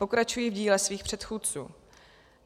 Pokračují v díle svých předchůdců.